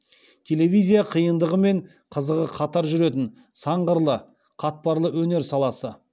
телевизия қиындығы мен қызығы қатар жүретін сан қырлы қатпарлы өнер саласы